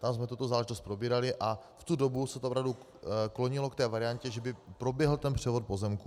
Tam jsme tuto záležitost probírali a v tu dobu se to opravdu klonilo k té variantě, že by proběhl ten převod pozemků.